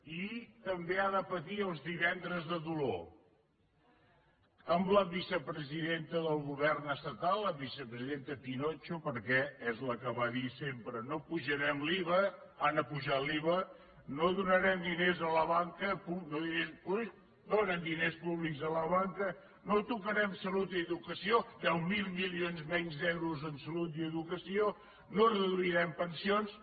i també ha de patir els divendres de dolor amb la vicepresidenta del govern estatal la vicepresidenta pinotxo perquè és la que va dir sempre no apujarem l’iva han apujat l’iva no donarem diners a la banca donen diners públics a la banca no tocarem salut i educació deu mil mi lions menys d’euros en salut i educació no reduirem pensions